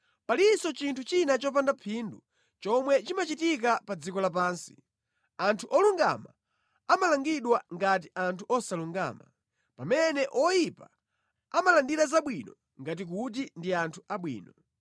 Palinso chinthu china chopanda phindu chomwe chimachitika pa dziko lapansi: anthu olungama amalangidwa ngati anthu osalungama. Pamene oyipa amalandira zabwino ngati kuti ndi anthu abwino.